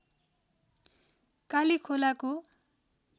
कालीखोलाको